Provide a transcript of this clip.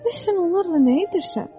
Bəs sən onlarla nə edirsən?